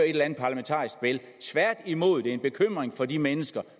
et eller andet parlamentarisk spil tværtimod er det en bekymring for de mennesker